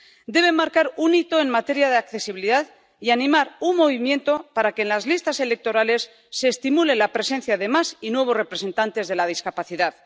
Deben marcar un hito en materia de accesibilidad y animar un movimiento para que en las listas electorales se estimule la presencia de más y nuevos representantes de la discapacidad.